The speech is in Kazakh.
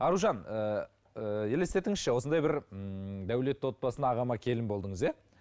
аружан ііі елестетіңізші осындай бір ііі дәулетті отбасына ағама келін болдыңыз иә